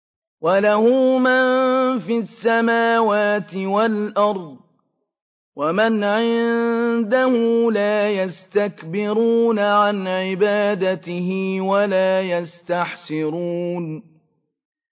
وَلَهُ مَن فِي السَّمَاوَاتِ وَالْأَرْضِ ۚ وَمَنْ عِندَهُ لَا يَسْتَكْبِرُونَ عَنْ عِبَادَتِهِ وَلَا يَسْتَحْسِرُونَ